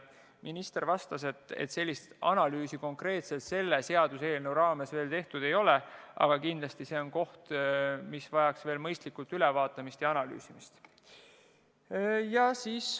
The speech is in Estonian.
Minister vastas, et sellist analüüsi konkreetselt selle seaduseelnõu raames tehtud ei ole, aga kindlasti see küsimus vajaks mõistlikult ülevaatamist ja analüüsimist.